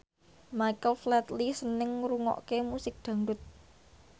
Michael Flatley seneng ngrungokne musik dangdut